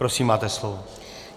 Prosím, máte slovo.